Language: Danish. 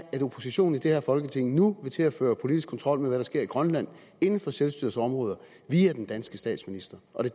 at oppositionen i det her folketing nu vil til at føre politisk kontrol med hvad der sker i grønland inden for selvstyrets områder via den danske statsminister og det